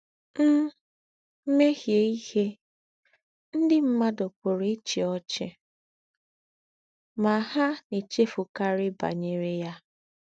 M̀ méhiè íhé, ndí́ m̀mùàdù pùrù íchí ọ́chì — mà hà nà-èchéfùkàrí bànyèrè yá.